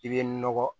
I bɛ nɔgɔ